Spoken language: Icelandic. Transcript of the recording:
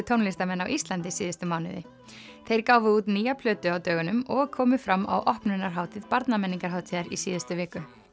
tónlistarmenn á Íslandi síðustu mánuði þeir gáfu út nýja plötu á dögunum og komu fram á opnunarhátíð Barnamenningarhátíðar í síðustu viku